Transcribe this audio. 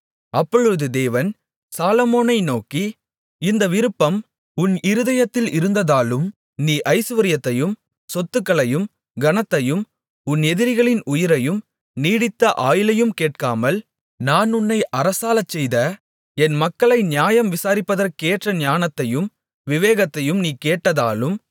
அப்பொழுது தேவன் சாலொமோனை நோக்கி இந்த விருப்பம் உன் இருதயத்தில் இருந்ததாலும் நீ ஐசுவரியத்தையும் சொத்துக்களையும் கனத்தையும் உன் எதிரிகளின் உயிரையும் நீடித்த ஆயுளையும் கேட்காமல் நான் உன்னை அரசாளச்செய்த என் மக்களை நியாயம் விசாரிப்பதற்கேற்ற ஞானத்தையும் விவேகத்தையும் நீ கேட்டதாலும்